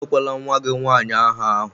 Enyekwala nwa gị nwanyị áhà ahụ!